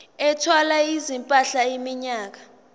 ethwala izimpahla iminyaka